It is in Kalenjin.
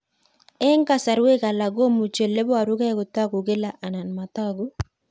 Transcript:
Eng' kasarwek alak komuchi ole parukei kotag'u kila anan matag'u